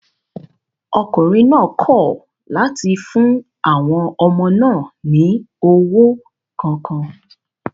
Ọkùnrin náà kọ̀ láti fún àwọn ọmọ náà ní owó kankan